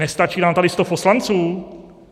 Nestačí nám tady sto poslanců?